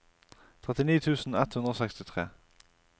trettini tusen ett hundre og sekstitre